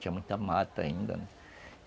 Tinha muita mata ainda, né.